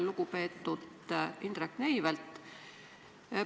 Lugupeetud Indrek Neivelt!